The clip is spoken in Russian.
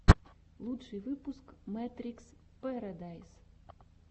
лучший выпуск мэтрикс пэрэдайс